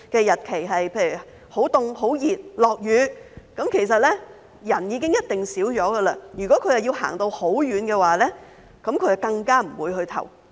如果投票日很冷、很熱或下雨，投票人數一定會減少，如果他們需要走很遠的路，更不會去投票。